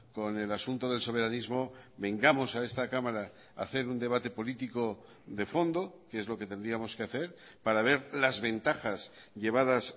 con el asunto del soberanismo vengamos a esta cámara a hacer un debate político de fondo que es lo que tendríamos que hacer para ver las ventajas llevadas